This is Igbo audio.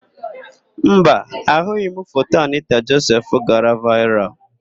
Mba, ahụghị m foto Anịta Josef gara vaịral.